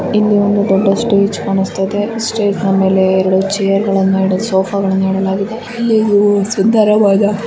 ಇಲ್ಲಿ ಒಂದು ದೊಡ್ಡ ಸ್ಟೇಜ್ ಕಾಣಿಸುತ್ತಾ ಇದೆ ಸ್ಟೇಜ್ ನಾ ಮೇಲೆ ಎರೆಡು ಛೈರ್ ಗಳನ್ನು ಸೋಫಾಗಳನ್ನು ಇಡಲಾಗಿದೆ ಇಲ್ಲಿ ಇವು ಸುಂದರವಾದ--